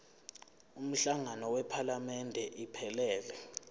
umhlangano wephalamende iphelele